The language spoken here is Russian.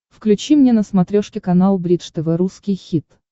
включи мне на смотрешке канал бридж тв русский хит